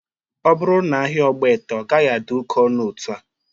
Ọ bụrụ na ahia Ogbete, ọ gaghị adị oke ọnụ otua